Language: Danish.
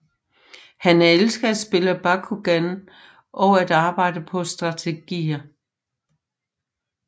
Han elsker at spille Bakugan og at arbejde på strategier